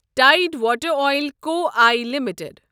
tide water oil co I limited